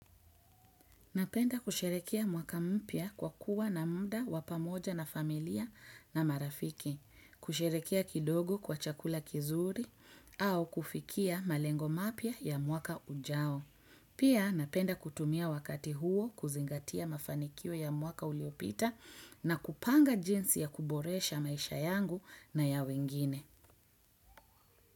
Napenda kusherekea mwaka mpya kwa kuwa na muda wa pamoja na familia na marafiki, kusherekea kidogo kwa chakula kizuri au kufikia malengo mapya ya mwaka ujao. Pia napenda kutumia wakati huo kuzingatia mafanikio ya mwaka uliopita na kupanga jinsi ya kuboresha maisha yangu na ya wengine.